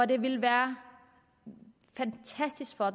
det ville være fantastisk for